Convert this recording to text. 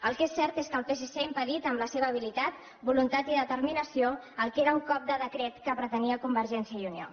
el que és cert és que el psc ha impedit amb la seva habilitat voluntat i determinació el que era un cop de decret que pretenia convergència i unió